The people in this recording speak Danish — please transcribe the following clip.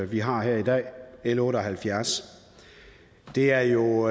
vi har her i dag l otte og halvfjerds det er jo